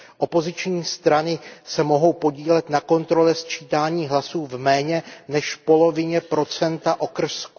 Opoziční strany se mohou podílet na kontrole sčítání hlasů v méně než polovině procenta okrsků.